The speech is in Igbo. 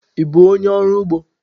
Ị bụ onye ọrụ ugbo?